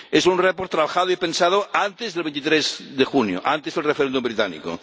Es un informe trabajado y pensado antes del 23 de junio, antes del referéndum británico.